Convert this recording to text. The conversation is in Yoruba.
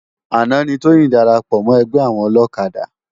Ánà ni Toyin dàrápò mò ègbè áwòn òlòkádá